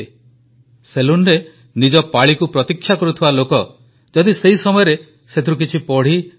ସେଲୁନରେ ନିଜ ପାଳିକୁ ପ୍ରତୀକ୍ଷା କରୁଥିବା ଲୋକ ଯଦି ସେହି ସମୟରେ ସେଥିରୁ କିଛି ପଢ଼ି ସେ ବିଷୟରେ କିଛି ଲେଖେ ତେବେ ପନ୍ ମରିୟପ୍ପନଜୀ ସେହି ଗ୍ରାହକଙ୍କୁ ରିହାତି ଦିଅନ୍ତି